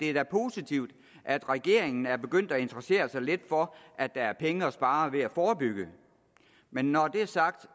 er positivt at regeringen er begyndt at interessere sig lidt for at der er penge at spare ved at forebygge men når det er sagt